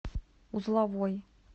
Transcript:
узловой